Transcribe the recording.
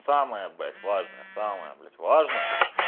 самое блять важное самое блять важное